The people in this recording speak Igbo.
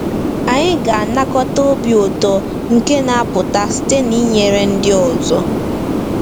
Anyị ga-anakọta obi ụtọ nke na-apụta site n’inyere ndị ọzọ.